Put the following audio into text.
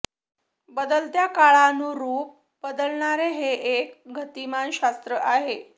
बदलत्या काळानुरूप बदलणारे हे एक गतिमान शास्त्र आहे